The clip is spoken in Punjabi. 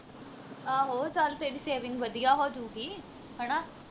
ਆਹੋ ਚੱਲ ਤੇਰੀ saving ਵਧੀਆ ਹੋਜੂਗੀ ਹਣਾ